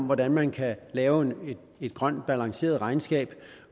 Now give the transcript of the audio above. hvordan man kan lave et grønt balanceret regnskab